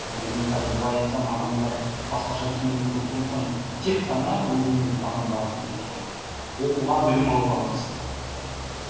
бұны мен қазір бұлай айтсам адамдар басқаша түсінуі мүмкін сондықтан тек қана өзімнің ұстанған бағытым жаңағы оқуға білім алуға қатысты